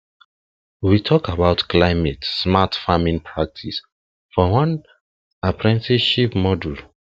we talk about climate smart smart farming practices for one apprenticeship module